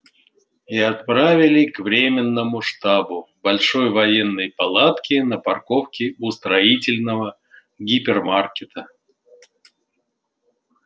и отправили к временному штабу большой военной палатке на парковке у строительного гипермаркета